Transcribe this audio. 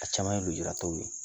A caman ye lujuratɔw ye